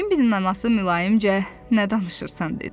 Bembinin anası mülayimcə nə danışırsan dedi.